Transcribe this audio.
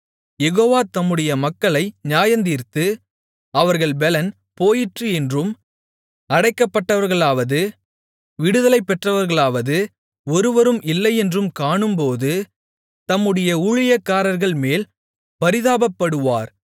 யெகோவா தம்முடைய மக்களை நியாயந்தீர்த்து அவர்கள் பெலன் போயிற்று என்றும் அடைக்கப்பட்டவர்களாவது விடுதலை பெற்றவர்களாவது ஒருவரும் இல்லையென்றும் காணும்போது தம்முடைய ஊழியக்காரர்கள்மேல் பரிதாபப்படுவார்